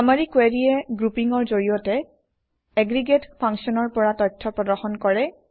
চামাৰি কুৱেৰিয়ে গ্ৰুপিঙৰ জৰিয়তে এগ্ৰিগেট ফাংশ্যনৰ পৰা তথ্য প্ৰদৰ্শন কৰে